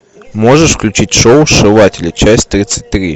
можешь включить шоу сшиватели часть тридцать три